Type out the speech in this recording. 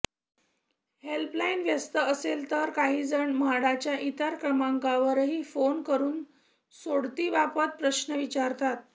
helpline व्यस्त असेल तर काहीजण म्हाडाच्या इतर क्रमांकावरही फोन करून सोडतीबाबत प्रश्न विचारतात